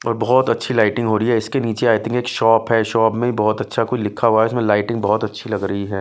और बहुत अच्छी लाइटिंग हो रही है इसके नीचे आई थिंक एक शॉप है शॉप में बहुत अच्छा कोई लिखा हुआ है इसमें लाइटिंग बहुत अच्छी लग रही है।